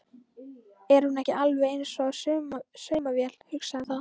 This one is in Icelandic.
Er hún ekki alveg eins og saumavél, hugsaði það.